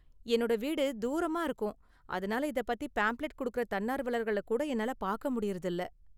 என்னோட வீடு தூரமா இருக்கும், அதனால இதப் பத்தின பாம்ப்ளெட் கொடுக்கற தன்னார்வலர்களை கூட என்னால பாக்க முடியுறது இல்ல.